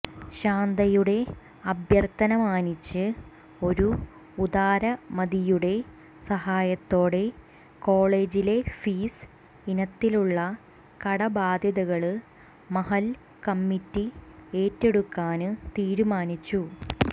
ശാന്തയുടെ അഭ്യര്ഥനമാനിച്ച് ഒരു ഉദാരമതിയുടെ സഹായത്തോടെ കോളേജിലെ ഫീസ് ഇനത്തിലുള്ള കടബാധ്യതകള് മഹല്ല് കമ്മിറ്റി ഏറ്റെടുക്കാന് തീരുമാനിച്ചു